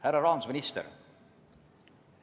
Härra rahandusminister!